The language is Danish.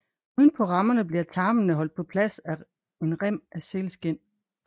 Uden på rammerne bliver tarmene holdt på plads af en rem af sælskind